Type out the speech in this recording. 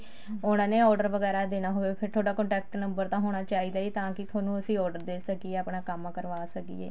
ਉਹਨਾ ਨੇ order ਵਗੈਰਾ ਦੇਣਾ ਹੋਵੇ ਫ਼ੇਰ ਤੁਹਾਡਾ contact number ਤਾਂ ਹੋਣਾ ਚਾਹੀਦਾ ਹੈ ਜੀ ਤਾਂ ਕਿ ਤੁਹਾਨੂੰ ਅਸੀਂ order ਦੇ ਸਕੀਏ ਆਪਣਾ ਕੰਮ ਕਰਵਾ ਸਕੀਏ